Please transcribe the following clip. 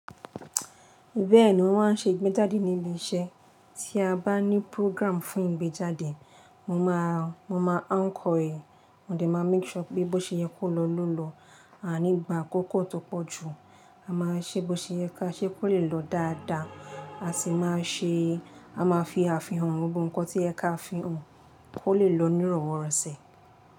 Bẹ́ẹ̀ni wọ́n máa ń ṣe ìgbéjáde ní ilé iṣẹ́. Tí a bá ní program fún ìgbéjáde, mo máa, mo máa anchor ì, mo de máa make sure pé bó ṣe yẹ kó lọ ló lọ, a a ní gbà akókó tó pọ̀ jù. A máa ṣe bó ṣe yẹ ká ṣe kó lè lọ dáadáa, a sì máa ṣe, a máa fi àfihàn gbogbo ǹkan tí o yẹ ka fihàn, kó lè lọ nírọ̀wọ́rọ̀sẹ̀